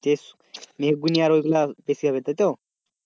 যে মেহগিনি আর ওইগুলা বেশি হবে তাই তো?